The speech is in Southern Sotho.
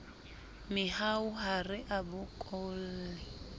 mehau ha re a bokolle